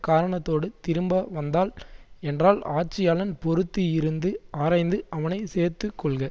காரணத்தோடு திரும்ப வந்தாள் என்றால் ஆட்சியாளன் பொறுத்து இருந்து அரய்ந்து அவனை சேர்த்து கொள்க